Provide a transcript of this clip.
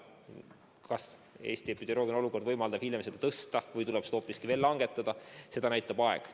Kas Eesti epidemioloogiline olukord võimaldab seda hiljem tõsta või tuleb seda hoopis langetada, seda näitab aeg.